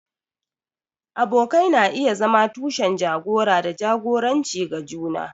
Abokai na iya zama tushen jagora da jagoranci ga juna.